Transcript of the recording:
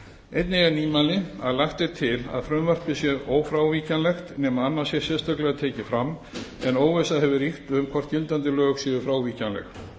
einnig er nýmæli að lagt er til að frumvarpið sé ófrávíkjanlegt nema annað sé sérstaklega tekið fram en óvissa hefur ríkt um hvort gildandi lög séu frávíkjanleg